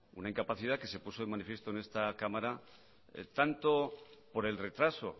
una incapacidad que se puso de manifiesto en esta cámara tanto por el retraso